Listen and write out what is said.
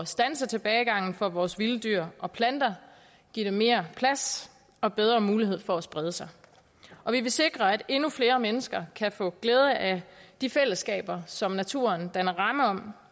standse tilbagegangen for vores vilde dyr og planter og give dem mere plads og bedre mulighed for at sprede sig vi vil sikre at endnu flere mennesker kan få glæde af de fællesskaber som naturen danner ramme om